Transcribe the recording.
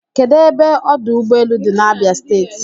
Kedụ ebe ọdụ ụgbọelu dị n'Abia steeti?